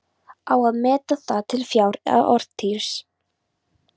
Á að meta það til fjár eða orðstírs?